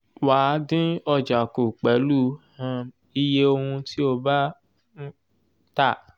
wà dín ọjà kú pèlú um iye ohùn tí o bá um tà